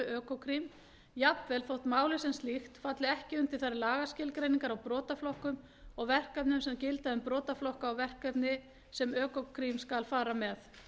hálfu økokrim jafnvel þótt málið sem slíkt falli ekki undir þær lagaskilgreiningar á brotaflokkum og verkefnum sem gilda um brotaflokka og verkefni sem økokrim skal fara með